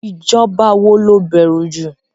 Ìjọba wo lo bẹ̀rù jù?